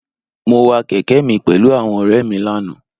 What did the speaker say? Mo wa kèke mi pèlú àwọn òré è mi lánàá